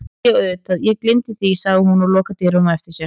Æi já auðvitað ég gleymdi því, segir hún og lokar dyrunum á eftir sér.